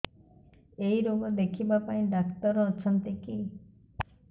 ଏଇ ରୋଗ ଦେଖିବା ପାଇଁ ଡ଼ାକ୍ତର ଅଛନ୍ତି କି